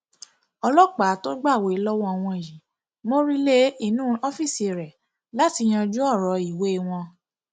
ọlọpàá tó gbàwé lọwọ wọn yìí mórí lé inú ọfíìsì rẹ láti yanjú ọrọ ìwé wọn